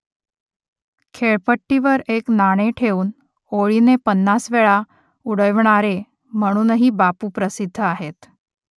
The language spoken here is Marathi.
खेळपट्टीवर एक नाणे ठेवून ओळीने पन्नास वेळा उडविणारे म्हणूनही बापू प्रसिद्ध आहेत